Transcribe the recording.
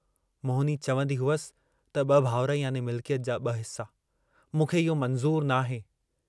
मोहिनी चवन्दी हुअसि त ब भाउर याने मिल्कयत जा ब हिस्सा, मूंखे इहो मंज़ूर नाहे।